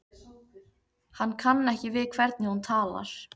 Hann kann ekki við hvernig hún talar.